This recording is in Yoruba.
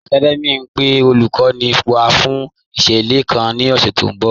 Academia n pe olúkòní wá fún ìṣẹlẹ̀ kàn ni ọ̀ṣẹ̀ tí n bọ̀